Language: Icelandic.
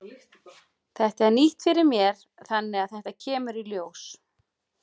Þetta er nýtt fyrir mér þannig að þetta kemur í ljós.